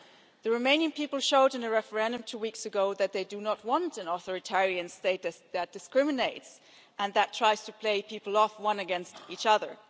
The Romanian people showed in a referendum two weeks ago that they do not want an authoritarian state that discriminates and that tries to play people off against one another.